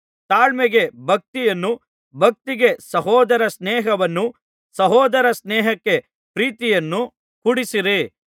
ತಾಳ್ಮೆಗೆ ಭಕ್ತಿಯನ್ನೂ ಭಕ್ತಿಗೆ ಸಹೋದರ ಸ್ನೇಹವನ್ನೂ ಸಹೋದರ ಸ್ನೇಹಕ್ಕೆ ಪ್ರೀತಿಯನ್ನೂ ಕೂಡಿಸಿರಿ